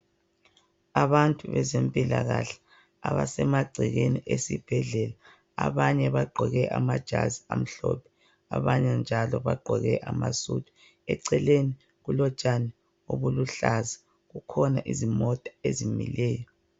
Abantu bezempilakahle abasemagcekeni esibhedlela abanye bagqoke amajazi amhlophe abanye njalo bagqoke amasudu. Eceleni kulotshani obuluhlaza kukhona imota ezimileyo.